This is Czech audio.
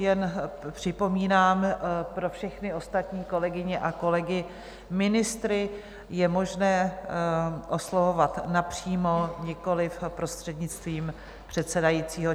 Jen připomínám pro všechny ostatní kolegyně a kolegy: ministry je možné oslovovat napřímo, nikoliv prostřednictvím předsedajícího.